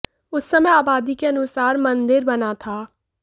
उस समय आबादी के अनुसार मंदिर बना था